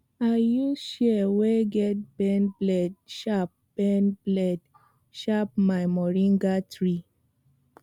i use shears wey get bend blade shape bend blade shape my moringa tree